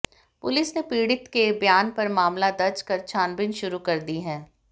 police ने पीडि़त के ब्यान पर मामला दर्ज कर छानबीन शुरू कर दी है